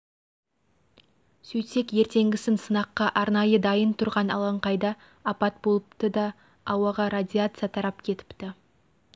сөйтсек ертеңгісін сынаққа арнайы дайын тұрған алаңқайда апат болыпты да ауаға радиация тарап кетіпті